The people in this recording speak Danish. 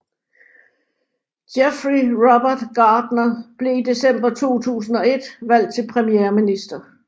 Geoffrey Robert Gardner blev i december 2001 valgt til premierminister